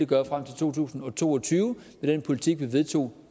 gøre frem til to tusind og to og tyve med den politik vi vedtog